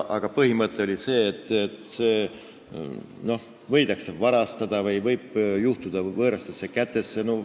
Aga põhimõte oli see, et need võidakse varastada või need võivad sattuda võõrastesse kätesse.